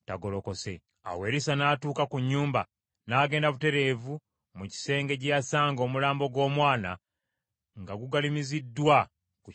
Awo Erisa n’atuuka ku nnyumba, n’agenda butereevu mu kisenge gye yasanga omulambo gw’omwana nga gugalamiziddwa ku kitanda kye.